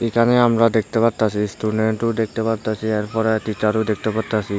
এখানে আমরা দেখতে পারতাসি স্টুডেন্টও দেখতে পারতাসি এরপরে টিচারও দেখতে পারতাসি।